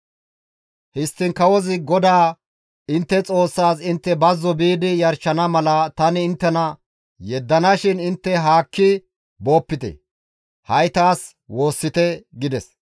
Histtiin kawozi, «GODAA intte Xoossaas intte bazzo biidi yarshana mala tani inttena yeddana shin intte haakki boopite; ha7i taas woossite» gides.